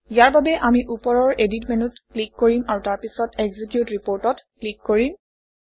ইয়াৰ বাবে আমি ওপৰৰ এডিট মেনুত ক্লিক কৰিম আৰু তাৰপিছত এক্সিকিউট Report অত ক্লিক কৰিম